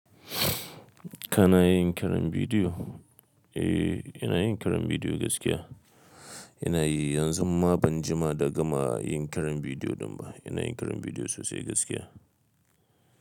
Kana yin kiran bidiyo? Eh, ina yin kiran bidiyo gaskiya. Ina yi yanzun ma ban jima da gama yin kiran bidiyo din ba. Ina yin kiran bidiyo sosai gaskiya.